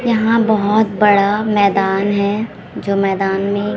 यहां बहोत बड़ा मैदान है जो मैदान में--